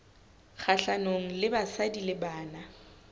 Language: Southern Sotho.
kgahlanong le basadi le bana